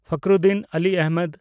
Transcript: Fakhruddin Ali Ahmed